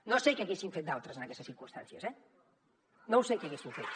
no sé què haguessin fet d’altres en aquestes circumstàncies eh no ho sé què haguessin fet